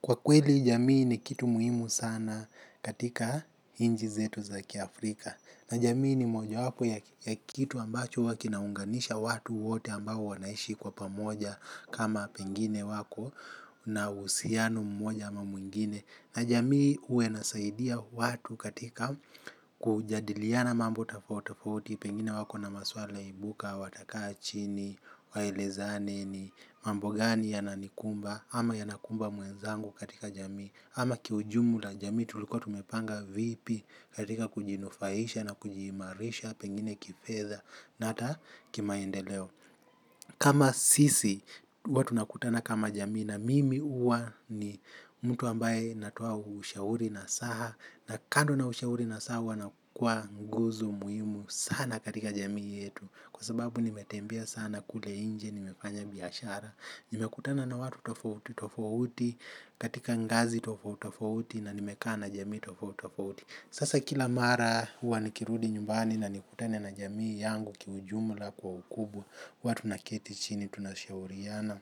Kwa kweli jamii ni kitu muhimu sana katika nchi zetu za kiafrika. Na jamii ni mojawapo ya kitu ambacho huwa kinaunganisha watu wote ambao wanaishi kwa pamoja kama pengine wako na uhusiano mmoja ama mwingine na jamii huwa inasaidia watu katika kujadiliana mambo tofauti tofauti pengine wako na maswala ibuka, watakaa chini, waelezane ni mambo gani yananikumba ama yanakumba mwenzangu katika jamii ama kiujumula jamii tulikuwa tumepanga vipi katika kujinufaisha na kujiimarisha pengine kifedha na hata kimaendeleo. Kama sisi huwa tunakutana kama jamii na mimi huwa ni mtu ambaye natia ushauri nasaha. Na kando na ushauri nasaha huwa na kuwa nguzo muhimu sana katika jamii yetu. Kwa sababu nimetembea sana kule nje, nimefanya biashara, nimekutana na watu tofauti, tofauti, katika ngazi tofauti, tofauti na nimekaa na jamii tofauti, tofauti. Sasa kila mara huwa nikirudi nyumbani na nikutane na jamii yangu kiujumula kwa ukubwa huwa tunaketi chini tunashauriana.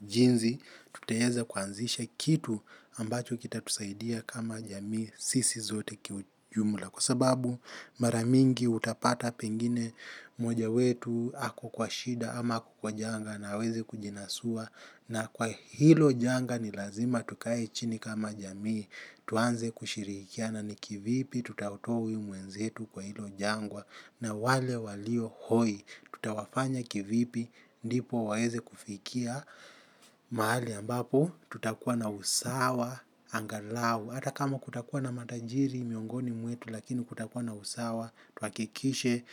Jinsi tutaweza kuanzisha kitu ambacho kitatusaidia kama jamii sisi zote kiujumula. Kwa sababu mara mingi utapata pengine mmoja wetu ako kwa shida ama ako kwa janga na hawezi kujinasua. Na kwa hilo janga ni lazima tukae chini kama jamii tuanze kushirikiana ni kivipi tutamtoa huyu mwenzetu kwa hilo jangwa na wale walio hoi tutawafanya kivipi ndipo waweze kufikia mahali ambapo tutakuwa na usawa angalau ata kama kutakuwa na matajiri miongoni mwetu lakini kutakuwa na usawa tuhakikishe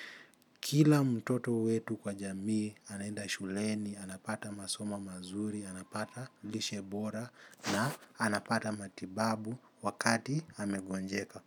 kila mtoto wetu kwa jamii anaenda shuleni, anapata masomo mazuri, anapata lishe bora na anapata matibabu wakati amegonjeka.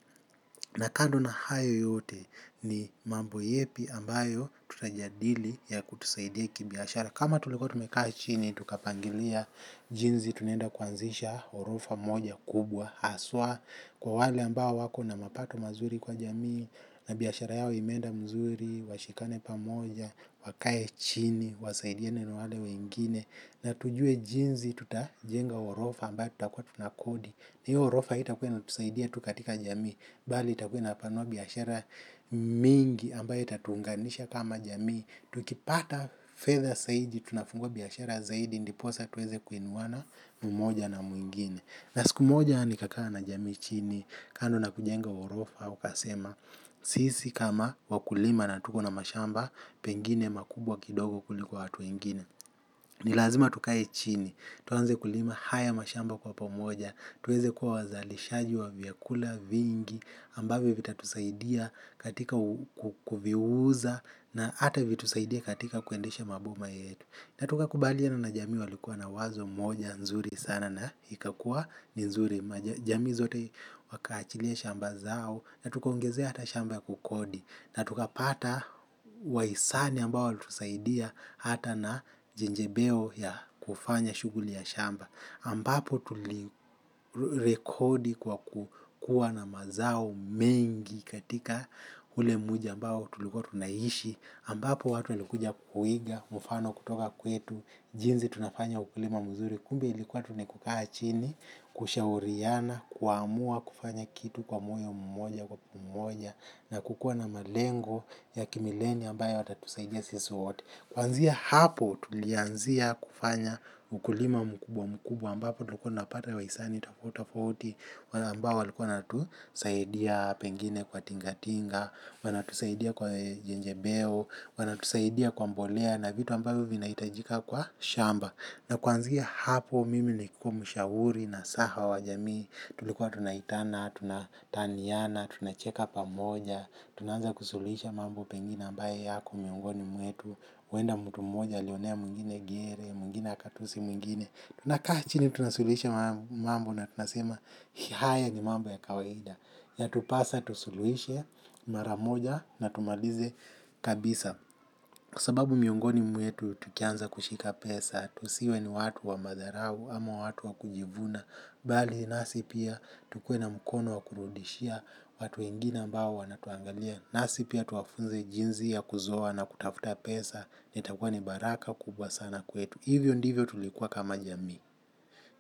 Na kando na hayo yote ni mambo yepi ambayo tutajadili ya kutusaidia kibiashara. Kama tulikuwa tumekaa chini, tukapangilia jinsi tunaenda kuanzisha orofa moja kubwa. Haswa kwa wale ambao wako na mapato mazuri kwa jamii na biashara yao imeenda vizuri, washikane pamoja, wakae chini wasaidiane na wale wengine na tujue jinsi tutajenga ghorofa ambayo tutakuwa tunakodi hiyo ghorofa haitakuwa inatusaidia tu katika jamii, bali itakuwa inapanua biashara mingi ambayo itatuunganisha kama jamii. Tukipata fedha zaidi tunafungwa biashara zaidi ndiposa tuweze kuinuwana mmoja na mwingine. Na siku moja nikakaa na jamii chini kando na kujenga ghorofa ukasema. Sisi kama wakulima na tuko na mashamba pengine makubwa kidogo kuliko watu wengine. Nilazima tukae chini tuanze kulima haya mashamba kwa pomoja, tuweze kuwa wazalishaji wa vyakula vingi ambavyo vitatusaidia katika kuviuza na hata vitusaidie katika kuendesha maboma yetu. Na tukakubaliana na jami walikuwa na wazo moja nzuri sana na ikakua ni nzuri. Jamii zote wakaachilia shamba zao na tukaongezea hata shamba ya kukodi na tukapata wahisani ambao walitusaidia hata na jejembeo ya kufanya shughuli ya shamba ambapo tulirekodi kwa kukua na mazao mengi katika ule mji ambao tulikuwa tunaishi ambapo watu walikuja kuiga mfano kutoka kwetu, jinsi tunafanya ukulima mzuri. Kumbe ilikuwa tu ni kukaa chini, kushauriana, kuamua kufanya kitu kwa moyo mmoja kwa pamoja na kukua na malengo ya kimileni ambayo yatatusaidia sisi wote. Kuanzia hapo tulianzia kufanya ukulima mkubwa mkubwa ambapo tulikuwa tunapata wahisani tofauti tofauti wale ambao walikuwa wanatusaidia pengine kwa tingatinga wanatusaidia kwa jejembeo, wanatusaidia kwa mbolea na vitu ambavyo vinahitajika kwa shamba. Na kuanzia hapo mimi nilikuwa mshauri nasaha wa jamii. Tulikuwa tunaitana, tunataniana, tunacheka pamoja. Tunaanza kusuluhisha mambo pengine ambayo yako miongoni mwetu huenda mtu mmoja alionea mwingine gere, mwingine akatusi mwingine, tunakaa chini tunasuluhisha mambo na tunasema haya ni mambo ya kawaida yatupasa tusuluhishe mara moja na tumalize kabisa. Kwa sababu miongoni mwetu tukianza kushika pesa tusiwe ni watu wa madharau ama watu wa kujivuna bali nasi pia tukue na mkono wa kurudishia watu wengine ambao wanatuangalia nasi pia tuwafunze jinsi ya kuzoa na kutafuta pesa. Na takuwa ni baraka kubwa sana kwetu. Hivyo ndivyo tulikuwa kama jamii.